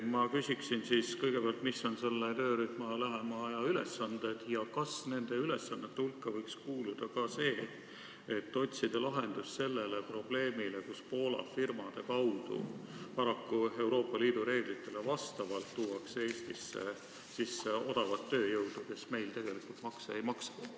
Ma küsin, mis on selle töörühma lähema aja ülesanded ja kas nende ülesannete hulgas võiks olla ka lahenduse otsimine sellele probleemile, et Poola firmade kaudu ja paraku kooskõlas Euroopa Liidu reeglitega tuuakse Eestisse sisse odavat tööjõudu, kes meil tegelikult makse ei maksa.